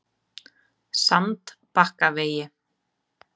Sandbakkavegi